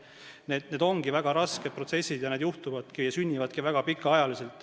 Need ongi väga rasked protsessid ja lahendused sünnivadki väga pika ajaga.